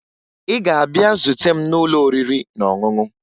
Ị ga-abịa zute m n'ụlọ oriri na ọṅụṅụ!